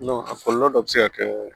a kɔlɔlɔ dɔ bɛ se ka kɛ